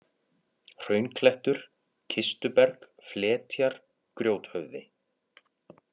Hraunklettur, Kistuberg, Fletjar, Grjóthöfði